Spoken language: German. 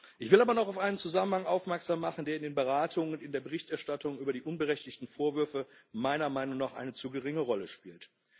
Ich will aber noch auf einen Zusammenhang aufmerksam machen, der in den Beratungen und in der Berichterstattung über die unberechtigten Vorwürfe meiner Meinung noch eine zu geringe Rolle spielt.